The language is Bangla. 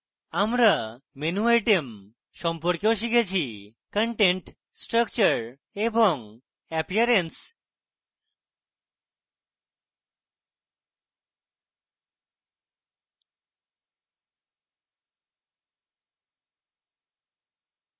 আমরা menu items সম্পর্কেও শিখেছিcontent structure এবং appearance